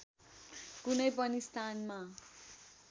कुनै पनि स्थानमा